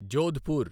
Jodhpur